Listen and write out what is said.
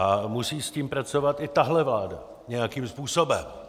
A musí s tím pracovat i tahle vláda nějakým způsobem.